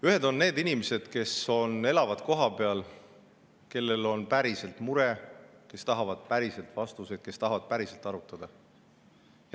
Ühed on need inimesed, kes elavad kohapeal ja kellel on päriselt mure, kes tahavad päriselt vastuseid ja kes tahavad päriselt arutada.